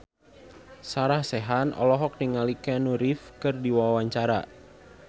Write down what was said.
Sarah Sechan olohok ningali Keanu Reeves keur diwawancara